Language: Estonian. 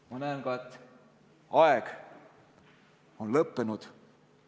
Ma näen, et aeg on lõppenud.